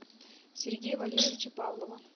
сергея валерьевича павлова